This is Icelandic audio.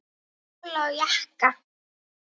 Kjóla og jakka.